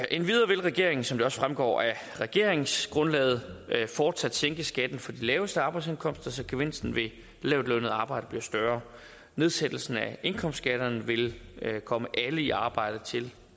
endvidere vil regeringen som det også fremgår af regeringsgrundlaget fortsat sænke skatten for de laveste arbejdsindkomster så gevinsten ved lavtlønnet arbejde bliver større nedsættelsen af indkomstskatterne vil komme alle i arbejde til